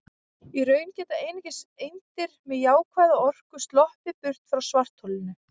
Í raun geta einungis eindir með jákvæða orku sloppið burt frá svartholinu.